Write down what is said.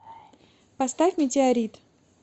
поставь метеорит